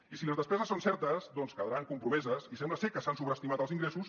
i si les despeses són certes doncs quedaran compromeses i sembla ser que s’han sobreestimat els ingressos